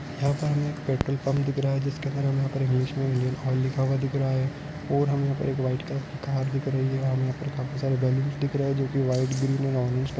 यहाँ पर हमे एक पेट्रोल पंप दिख रहा है जिसके अंदर हमे यहा पर इंग्लिश मे इंडियन ऑइल लिखा हुआ दिख रहा है और हमे यहा पर व्हाइट कलर की कार दिख रही है हम यहा पर काफी सारे बैलून्स दिख रहै जोकि व्हाइट ग्रीन और ऑरेंज कलर --